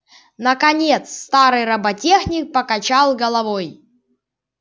наконец старый роботехник покачал головой